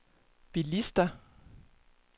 bilister